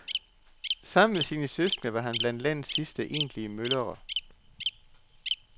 Sammen med sine søskende var han blandt landets sidste egentlige møllere.